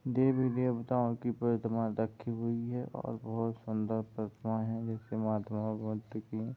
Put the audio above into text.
देवी देवताओं की प्रतिमा रखी हुई है और बहुत सूंदर प्रतिमा है जिसे महात्माओं --